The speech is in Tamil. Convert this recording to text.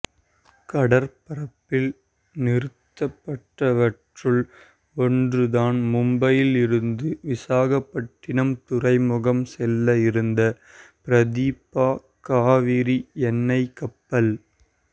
கடற்பரப்பில் நிறுத்தப்பட்டவற்றுள் ஒன்றுதான் மும்பையில் இருந்து விசாகப்பட்டினம் துறைமுகம் செல்ல இருந்த பிரதீபா காவிரி எண்ணெய் கப்பல்